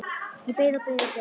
Ég beið og beið og beið!